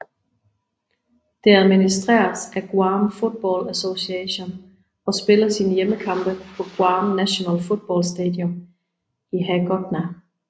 Det administreres af Guam Football Association og spiller sine hjemmekampe på Guam National Football Stadium i Hagåtña